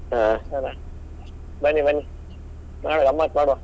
ಹಾ ಅಲ್ಲಾ, ಬನ್ನಿ ಬನ್ನಿ ಮಾಡ್ವ ಗಮ್ಮತ್ ಮಾಡ್ವ.